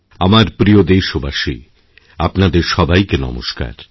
আমার প্রিয় দেশবাসী আপনাদের সবাইকে নমস্কার